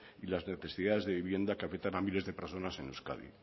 y las necesidades de vivienda que aprietan a miles de personas en euskadi